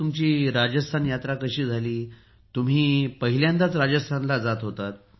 तुमची राजस्थान यात्रा कशी झाली तुम्ही प्रथमच राजस्थानला जात होतात